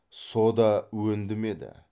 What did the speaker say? со да өндімеді